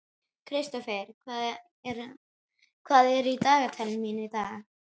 Kristófer, hvað er í dagatalinu mínu í dag?